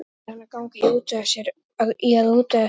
Síðan yrði hann að ganga í að útvega sér meira.